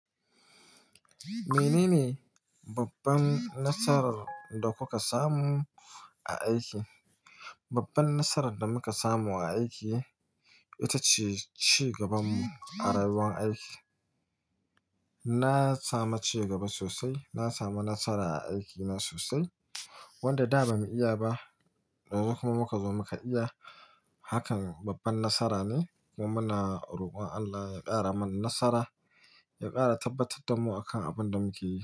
Menene babban nasarar da kuka samu a aiki? Babban nasarar da muka samu a aiki ita ce cigaban mu a rayuwar aiki. Na sami cigaba sosai, na sami nasara a aikina sosai. Wanda da ba mu iya ba, yanzu kuma muka zo muka iya. Hakan babban nasara ne kuma muna roƙon Allah ya ƙara mana nasara, ya ƙara tabbatar da mu akan abin da muke yi.